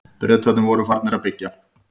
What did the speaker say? Bretarnir voru farnir að byggja.